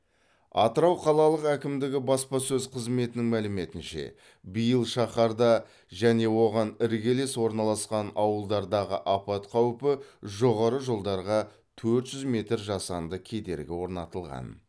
атырау қалалық әкімдігі баспасөз қызметінің мәліметінше биыл шаһарда және оған іргелес орналасқан ауылдардағы апат қаупі жоғары жолдарға төрт жүз метр жасанды кедергі орнатылған